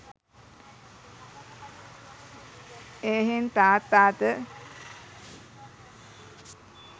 එහෙයින් තාත්තාද